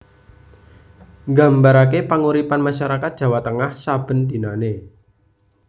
Nggambarake panguripan masyarakat Jawa Tengah saben dinanè